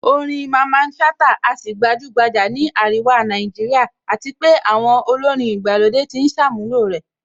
Orin Mamman Shata á sì gbajúgbajà ní àríwá Nàìjíríà àti pé àwọn olórin ìgbàlódé ti ń ṣàmúlò ẹ̀